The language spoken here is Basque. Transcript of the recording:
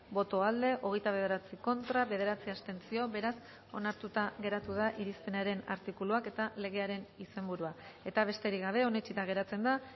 boto aldekoa hogeita bederatzi contra bederatzi abstentzio beraz onartuta geratu da irizpenaren artikuluak eta legearen izenburua eta besterik gabe onetsita geratzen da